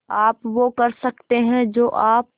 आप वो कर सकते हैं जो आप